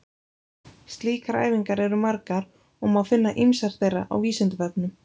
Slíkar æfingar eru margar og má finna ýmsar þeirra á Vísindavefnum.